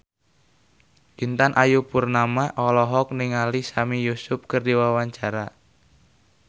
Intan Ayu Purnama olohok ningali Sami Yusuf keur diwawancara